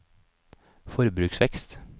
forbruksvekst